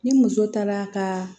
Ni muso taara ka